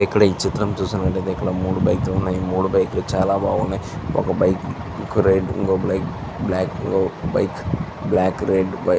ఇక్కడ ఈ చిత్రం చూస్తున్నట్టు ఐతే మూడు బైక్ లు ఉన్నాయి మూడు బైక్ లు చాలా బాగున్నయ్యి ఒక బైక్ ఇంకో బైక్ వైట్ రెడ్ --